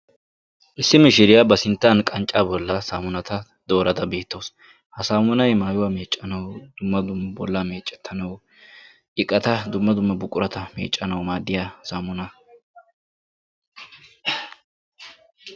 Issi mishiriyaa ba sinttaan qanccaa bolli saamunata doorada beettawus. ha saamunay maayuwaa meeccanawu dumma dumma bollaa meecettanawu iqata dumma dumma buqurata meeccanawu maaddiyaa buqurata.